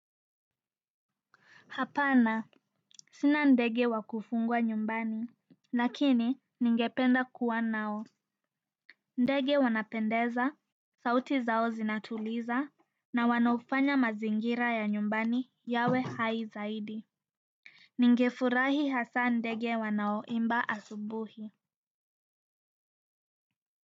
Hapana. Sina ndege wa kufugwa nyumbani, lakini ningependa kuwa nao. Ndege wanapendeza, sauti zao zinatuliza, na wanafanya mazingira ya nyumbani yawe hai zaidi. Ningefurahi hasa ndege wanaoimba asubuhi.